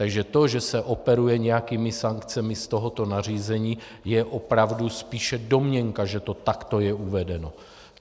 Takže to, že se operuje nějakými sankcemi z tohoto nařízení, je opravdu spíše domněnka, že to takto je uvedeno.